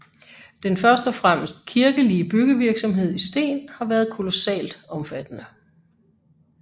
Den først og fremmest kirkelige byggevirksomhed i sten har været kolossalt omfattende